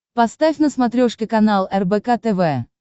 поставь на смотрешке канал рбк тв